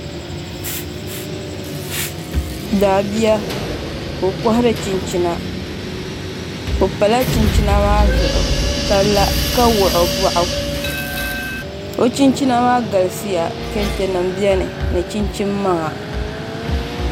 Daabia ka o kohari chinchina o pala chinchina maa zuɣu ka la ka wuɣi o boɣu o chinchina maa galisiya kɛntɛ nim biɛni ni chinchin maŋa